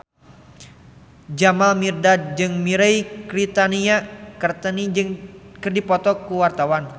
Jamal Mirdad jeung Mirei Kiritani keur dipoto ku wartawan